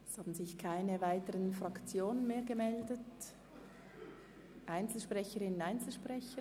Es haben sich keine weiteren Fraktionen angemeldet und auch keine Einzelsprecherinnen und Einzelsprecher.